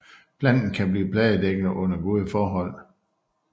Planten kan blive fladedækkende under gode forhold